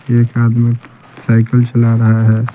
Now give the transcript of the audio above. एक आदमी साइकिल चला रहा है।